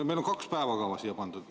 Meil on kaks päevakava siia pandud.